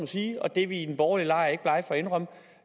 sige og det er vi i den borgerlige lejr ikke blege for at indrømme